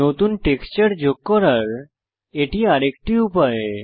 নতুন টেক্সচার যোগ করার এটি আরেকটি উপায়